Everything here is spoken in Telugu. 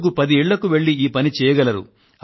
రోజుకు పది ఇళ్ళకు వెళ్ళి ఈ పని చేయండి